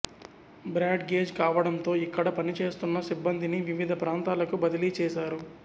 broad gauge కావడంతో ఇక్కడ పని చేస్తున్న సిబ్బందిని వివిధ ప్రాంతాలకు బదిలీ చేశారు